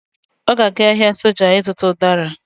Ọ ga-aga ahịa soja ịzụta ụdara